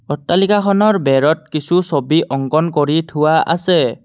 অট্টালিকাখনৰ বেৰত কিছু ছবি অংকণ কৰি থোৱা আছে।